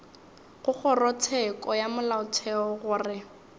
go kgorotsheko ya molaotheo gore